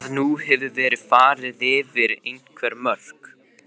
Veit að nú hefur verið farið yfir einhver mörk.